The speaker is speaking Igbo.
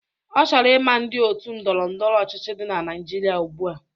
Ọ chọrọ ị ma ndị otu ndọrọ ndọrọ ọchịchị dị na Naịjirịa ugbua